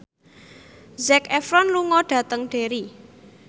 Zac Efron lunga dhateng Derry